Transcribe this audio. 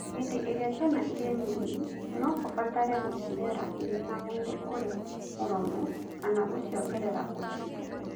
Hĩndĩ ĩrĩa ciana irĩ nini, no kũbatare gũcirera irĩ na mwĩrĩ ũrĩ mũrũmu kana gũciongerera ũcuke.